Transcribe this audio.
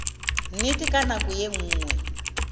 nnete ka nako ye nngwe